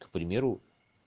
к примеру